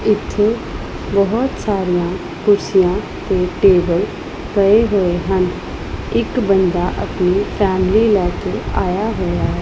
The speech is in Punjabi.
ਇੱਥੇ ਬੋਹੁਤ ਸਾਰੀਆਂ ਕੁਰਸੀਆਂ ਤੇ ਟੇਬਲ ਪਏ ਹੋਏ ਹਨ ਇੱਕ ਬੰਦਾ ਆਪਣੀ ਫੈਮਿਲੀ ਲੈ ਕੇ ਆਇਆ ਹੋਇਆ।